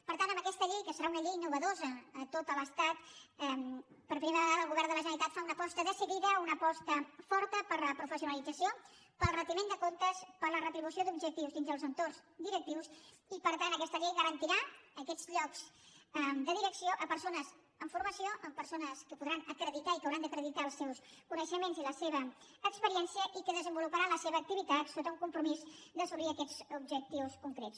per tant amb aquesta llei que serà una llei innovadora a tot l’estat per primera vagada el govern de la generalitat fa una aposta decidida una aposta forta per la professionalització pel retiment de comptes per la retribució d’objectius dins els entorns directius i per tant aquesta llei garantirà aquests llocs de direcció a persones amb formació a persones que podran acreditar i que hauran d’acreditar els seus coneixements i la seva experiència i que desenvoluparan la seva activitat sota un compromís d’assolir aquests objectius concrets